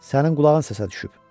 Sənin qulağın səsə düşüb.